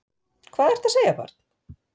Hvað ertu að segja barn?